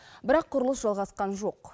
бірақ құрылыс жалғасқан жоқ